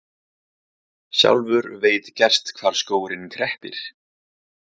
Sjálfur veit gerst hvar skórinn kreppir.